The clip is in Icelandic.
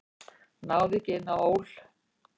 Náði ekki inn á ÓL